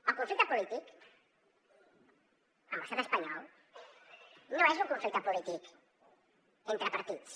el conflicte polític amb l’estat espanyol no és un conflicte polític entre partits